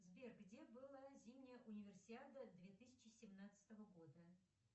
сбер где была зимняя универсиада две тысячи семнадцатого года